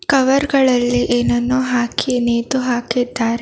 Cover ಗಳಲ್ಲಿ ಏನನ್ನು ಹಾಕಿ ನೇತು ಹಾಕಿದ್ದಾರೆ.